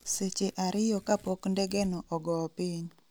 seche ariyo kapok ndegeno ogoo piny